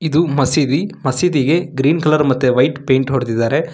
ಇದು ಮಸೀದಿ ಮಸೀದಿಗೆ ಗ್ರೀನ್ ಕಲರ್ ಮತ್ತೆ ವೈಟ್ ಪೈಂಟ್ ಹೊಡ್ದಿದಾರೆ.